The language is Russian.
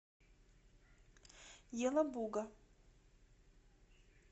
елабуга